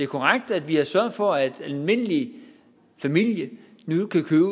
korrekt at vi har sørget for at en almindelig familie nu kan købe